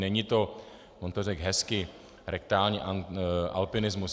Není to - on to řekl hezky, rektální alpinismus.